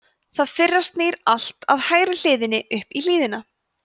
það fyrra snýr alltaf hægri hliðinni upp í hlíðina